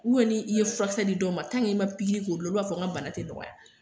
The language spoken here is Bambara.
ni i ye furakisɛ di dɔw ma k'i ma pikiri k'olu la, olu b'a fɔ n ka bana tɛ nɔgɔya.